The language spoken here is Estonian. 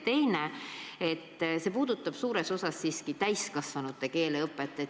Teine küsimus puudutab aga täiskasvanute keeleõpet.